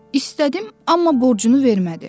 İstədim, amma borcunu vermədi.